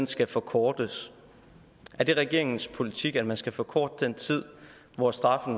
skal forkortes er det regeringens politik at man skal forkorte den tid hvor straffen